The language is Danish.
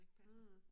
Mh